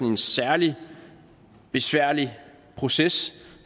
en særlig besværlig proces